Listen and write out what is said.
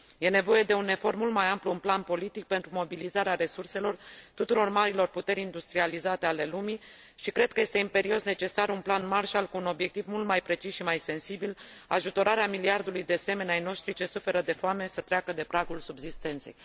Este nevoie de un efort mult mai amplu în plan politic pentru mobilizarea resurselor tuturor marilor puteri industrializate ale lumii și cred că este imperios necesar un plan Marshall cu un obiectiv mult mai precis și mai sensibil, ajutorarea miliardului de semeni ai noștri ce suferă de foame să treacă de pragul subzistenței.